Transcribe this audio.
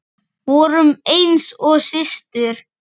Vorum eins og systur.